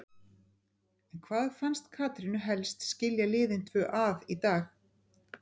En hvað fannst Katrínu helst skilja liðin tvö að í dag?